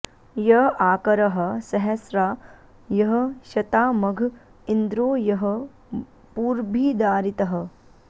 य आ॑क॒रः स॒हस्रा॒ यः श॒ताम॑घ॒ इन्द्रो॒ यः पू॒र्भिदा॑रि॒तः